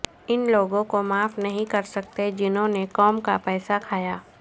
ان لوگوں کو معاف نہیں کر سکتے جنہوں نے قوم کا پیسہ کھایا